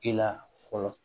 I la fɔlɔ